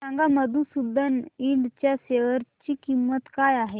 सांगा मधुसूदन इंड च्या शेअर ची किंमत काय आहे